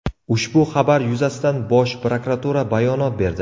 Ushbu xabar yuzasidan Bosh prokuratura bayonot berdi .